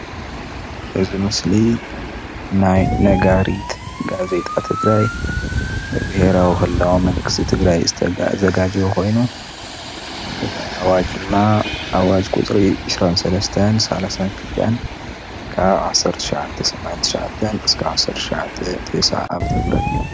እዚ ምስሊ ናይ ነጋሪት ጋዜጣ ትግራይ ብቤሄራዊ ክልላዊ መንግስቲ ትግራይ ዝተዛጋጀወ ኮይኑ እቲ ኣዋጅ ድማ ኣዋጅ ቁፅሪ 23-32/1979 ክሳብ 1990 ዓ/ም እዩ፡፡